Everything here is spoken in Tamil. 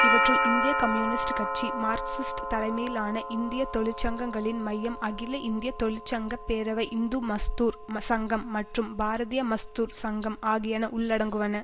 இவற்றுள் இந்திய கம்யூனிஸ்ட் கட்சி மார்க்சிஸ்ட் தலைமையிலான இந்திய தொழிற்சங்கங்களின் மையம் அகில இந்திய தொழிற்சங்க பேரவை இந்து மஸ்தூர் சங்கம் மற்றும் பாரதீய மஸ்தூர் சங்கம் ஆகியன உள்ளடங்குவன